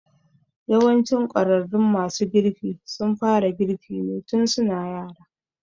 Yawancin ƙwararrun masu girki sun fara girki ne tun su na yara.